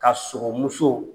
Ka muso